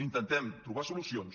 intentem trobar solucions